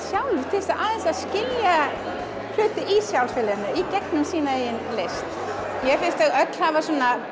sjálf til að skilja hluti í samfélaginu í gegnum sína eigin list mér finnst þau öll hafa